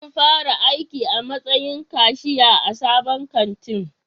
Zan fara aiki a matsayin kashiya a sabon kantin